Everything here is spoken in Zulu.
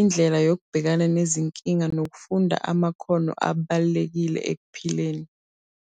indlela yokubhekana nezinkinga nokufunda amakhono abalulekile ekuphileni.